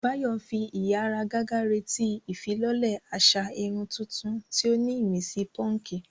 Báyọ̀ ń fi ìháragàgà retí ìfilọ́lẹ̀ àṣà irun tuntun tí ó ní ìmísí púnkì.